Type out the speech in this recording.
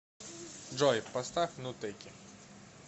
джой поставь нутеки